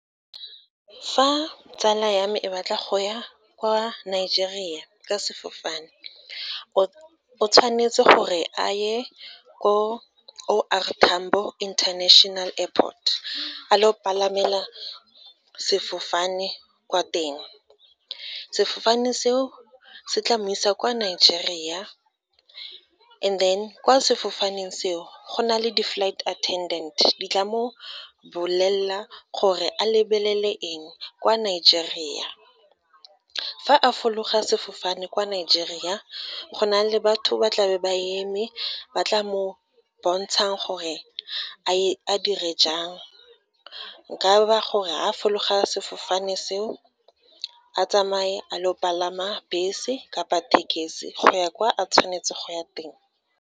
Fa tsala ya me e batla go ya kwa Nigeria ka sefofane, o tshwanetse gore a ye ko O R Tambo International Airport, a lo palamela sefofane kwa teng. Sefofane seo, se tla mo isa kwa Nigeria, and then kwa sefofaneng seo, go na le di-flight attendent, di tla mo bolelela gore a lebelele eng kwa Nigeria. Fa a fologa sefofane kwa Nigeria, go na le batho ba tlabe ba eme, ba tla mo bontshanang gore a dire jang, nka ba gore fa fologa sefofane seo, a tsamaye a lo palama bese kapa tekesi, go ya kwa a tshwanetse go ya teng.